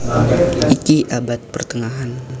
Iki abad pertengahan